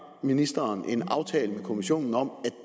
ministeren en aftale med kommissionen om